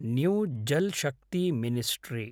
new Jal Shakti ministry